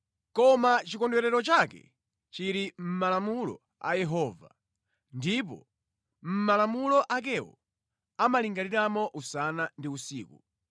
Koma chikondwerero chake chili mʼmalamulo a Yehova ndipo mʼmalamulo akewo amalingaliramo usana ndi usiku.